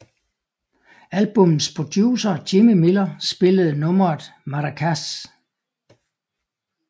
Albummets producer Jimmy Miller spillede nummeret maracas